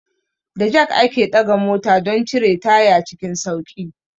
Da jak ake ɗaga mota don cire taya cikin sauƙi.